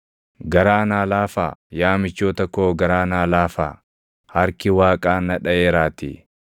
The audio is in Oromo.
“Garaa naa laafaa, yaa michoota koo garaa naa laafaa; harki Waaqaa na dhaʼeeraatii.